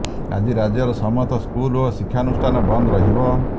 ଆଜି ରାଜ୍ୟର ସମସ୍ତ ସ୍କୁଲ୍ ଓ ଶିକ୍ଷାନୁଷ୍ଠାନ ବନ୍ଦ ରହିବ